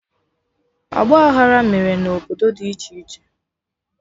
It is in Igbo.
Ọgba aghara mere na obodo dị iche iche